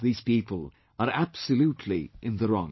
These people are absolutely in the wrong